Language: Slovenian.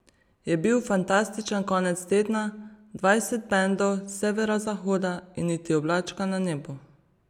Bil je fantastičen konec tedna, dvajset bendov s severozahoda in niti oblačka na nebu.